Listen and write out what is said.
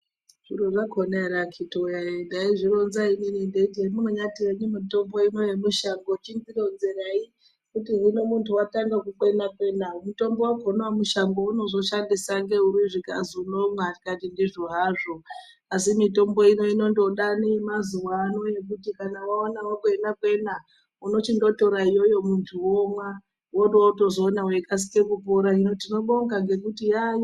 Zviro zvakona ere akiti woye ndaizvironza inini ndeiti hemunyati henyu mitombo ino yemushango chindironzerai kuti hino muntu watanga kukwena kwena mutombo wakona wemushango weunozoshandisa ngekuti zvikazi unomwa ndikati ndizvo hazvo asi mitombo ino inondoda yemazuwano yekuti kana waona wakwena kwena unochindotora iyoyo muntu womwa worotozoona weikasire kupora hino tinobonga ngekuti yayo.